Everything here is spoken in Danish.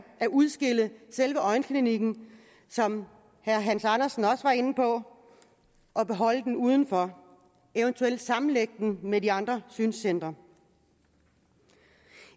at udskille selve øjenklinikken som herre hans andersen også var inde på og beholde den udenfor eventuelt sammenlægge den med de andre synscentre